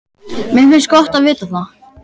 Mér finnst gott að vita það.